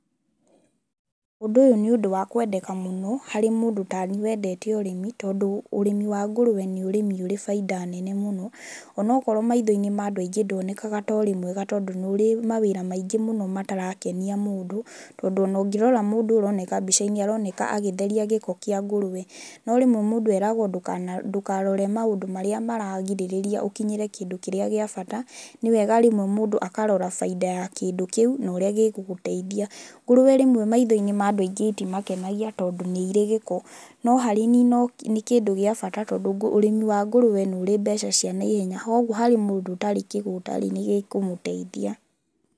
Ũndũ ũyũ nĩ ũndũ wa kwendeka mũno, harĩ mũndũ taniĩ wendete ũrĩmi tondũ ũrĩmi ngũrũwe nĩũndũ ũrĩ baida nene mũno onakorwo maitho-inĩ ma andũ aingĩ nduonekaga torĩ mwega tondũ nĩũrĩ mawĩra maingĩ mũno matarakenia mũndũ, tondũ onangĩrora mũndũ ũyũ ũroneka mbica-inĩ aroneka agĩtheria gĩko kĩa ngũrũwe no rĩmwe mũndũ eeragwo ndũkarore maũndũ marĩa maragirĩrĩria ũkinyĩre kĩndũ kĩrĩa gĩa bata, nĩwega rĩmwe mũndũ akarora baida ya kĩndũ kĩu na ũrĩa gĩgũteithia.Ngũrũwe rĩmwe maitho-inĩ ma andũ aingĩ ĩtimakenagia tondũ nĩ irĩ gĩko no harĩ niĩ nĩ kĩndũ gĩa bata tondũ ũrĩmi wa ngũrũwe nĩũrĩ mbeca cia na ihenya koguo harĩ mũndũ ũtarĩ kĩgũtarĩ nĩ gĩkũmũteithia.